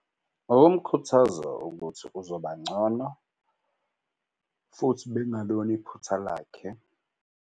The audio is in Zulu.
Ngokumkhuthaza ukuthi uzoba ngcono futhi bekungalona iphutha lakhe.